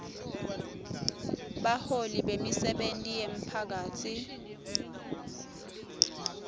baholi bemisebenti yemphakatsi